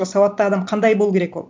сауатты адам қандай болу керек ол